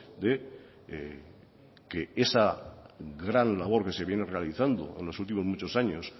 de que esa gran labor que se viene realizando en los últimos muchos años